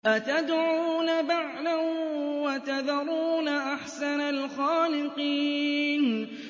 أَتَدْعُونَ بَعْلًا وَتَذَرُونَ أَحْسَنَ الْخَالِقِينَ